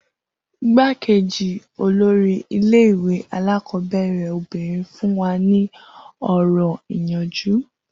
Igbákejì olórí ilé ìwé alákọ̀ọ́bẹ̀rẹ̀ obìnrin fún wa ní ọ̀rọ̀ ìyànjú